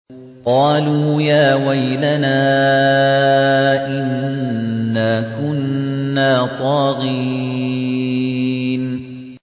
قَالُوا يَا وَيْلَنَا إِنَّا كُنَّا طَاغِينَ